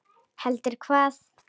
Heldur hvað?